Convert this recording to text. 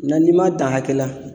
Na n'i m'a dan hakɛ la